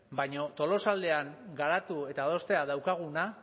baina tolosaldean garatu eta adostea daukaguna